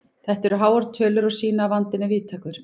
Þetta eru háar tölur og sýna að vandinn er víðtækur.